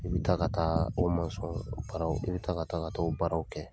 I bi ta ka taa o masɔn baaraw, i bi ta ka taa ka taa o baaraw kɛ.